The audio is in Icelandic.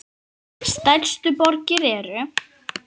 Stærstu borgir eru